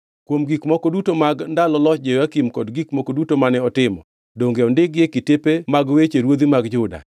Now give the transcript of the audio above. Kuom gik mamoko duto mag ndalo loch Jehoyakim kod gik moko duto mane otimo, donge ondikgi e kitepe mag weche ruodhi mag Juda?